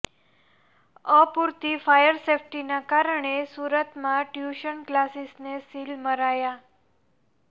અપૂરતી ફાયર સેફ્ટીના કારણે સુરતમાં ટ્યૂશન ક્લાસીસને સીલ મરાયા